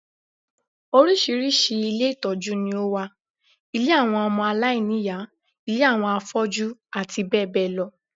Oríṣiríṣi ilé ìtọ́jú ni ó wà: ilé àwọn ọmọ aláìní ìyá, ilé àwọn afọ́jú, àti bẹ́ẹ̀ bẹ́ẹ̀ lọ